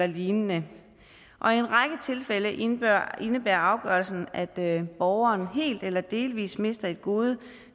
lignende og i en række tilfælde indebærer indebærer afgørelsen at borgeren helt eller delvis minister det gode